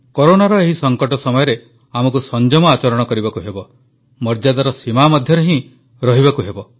କରୋନାର ଏହି ସଙ୍କଟ ସମୟରେ ଆମକୁ ସଂଯମ ଆଚରଣ କରିବାକୁ ହେବ ମର୍ଯ୍ୟାଦାର ସୀମା ମଧ୍ୟରେ ହିଁ ରହିବାକୁ ହେବ